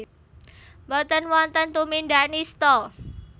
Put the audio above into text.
Boten wonten tumindak nistha